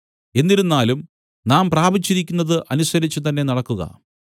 എന്നിരുന്നാലും നാം പ്രാപിച്ചിരിക്കുന്നതനുസരിച്ചു തന്നെ നടക്കുക